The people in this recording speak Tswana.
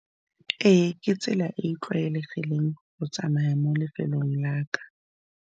Ee ke tsela e e tlwaelegileng go tsamaya mo lefelong la ka.